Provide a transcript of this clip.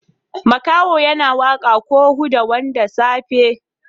Makahon yana waka ko woda wanda safe.